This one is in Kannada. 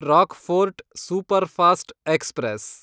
Rockfort superfast express